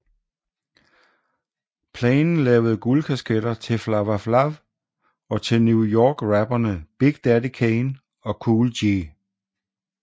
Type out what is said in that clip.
Plein lavede guldkasketter til Flava Flav og til New Yorkrapperene Big Daddy Kane og Kool G